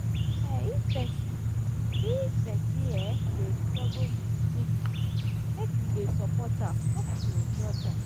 um if pesin if pesin um dey struggle wit stigma make we dey support am no be to judge am.